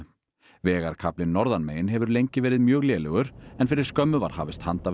vegarkaflinn norðanmegin hefur lengi verið mjög lélegur en fyrir skömmu var hafist handa við